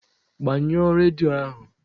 Gbaa ṅụọ redio ahụ!